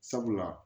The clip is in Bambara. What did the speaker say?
Sabula